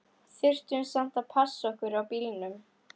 Þurftum samt að passa okkur á bílunum.